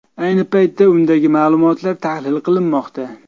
Ayni paytda undagi ma’lumotlar tahlil qilinmoqda.